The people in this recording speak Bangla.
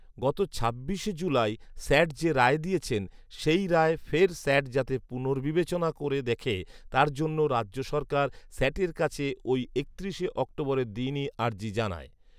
গত ছাব্বিশে জুলাই স্যাট যে রায় দিয়েছিলেন, সেই রায় ফের স্যাট যাতে পুনর্বিবেচনা করে দেখে, তার জন্য রাজ্য সরকার স্যাটের কাছে ঐ একত্রিশে অক্টোবরের দিনই আর্জি জানায়